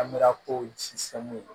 Amra ko ji sɛnmu na